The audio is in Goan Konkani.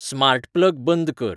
स्मार्ट प्लग बंद कर